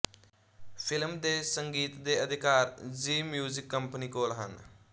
film ਦੇ ਸੰਗੀਤ ਦੇ ਅਧਿਕਾਰ ਜ਼ੀ ਮਿਊਜ਼ਿਕ ਕੰਪਨੀ ਕੋਲ ਹਨ